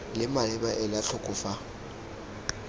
leng maleba ela tlhoko fa